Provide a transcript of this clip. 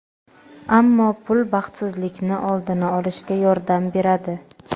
ammo pul baxtsizlikni oldini olishga yordam beradi.